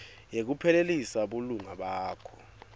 yekuphelisa bulunga bakho